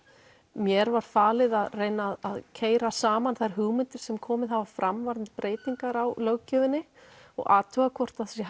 mér var falið að reyna að keyra saman þær hugmyndir sem komið hafa fram varðandi breytingar á löggjöfinni og athuga hvort hægt sé